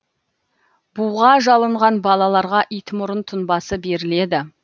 буға жалынған балаларға итмұрын тұнбасы беріледі